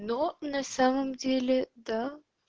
но на самом деле да